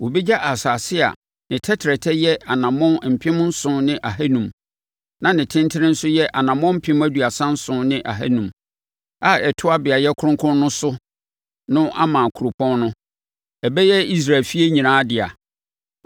“ ‘Wɔbɛgya asase a ne tɛtrɛtɛ yɛ anammɔn mpem nson ne ahanum (7,500) na ne tentene nso yɛ anammɔn mpem aduasa nson ne ahanum (37,500) a ɛtoa beaeɛ kronkron no so no ama kuropɔn no; ɛbɛyɛ Israel efie nyinaa dea.